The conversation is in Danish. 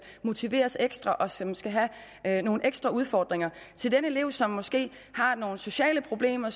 motiveres ekstra og som skal have nogle ekstra udfordringer i forhold til den elev som måske har nogle sociale problemer